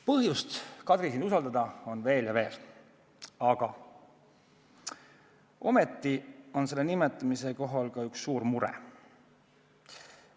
Põhjust, Kadri, sind usaldada on veel ja veel, aga ometi on selle kohaga seotud ka üks suur mure.